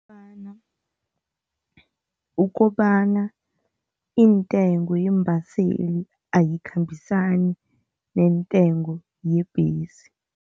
Ukobana iintengo yeembaseli ayikhambisani neentengo yebhesi.